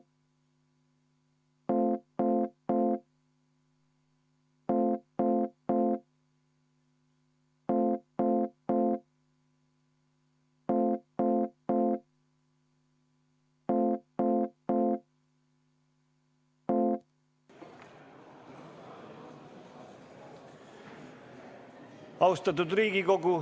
Austatud Riigikogu!